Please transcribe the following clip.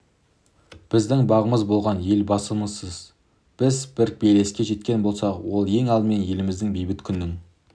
біздің бағымыз болған елбасымызсыз біз бір белеске жеткен болсақ ол ең алдымен еліміздегі бейбіт күннің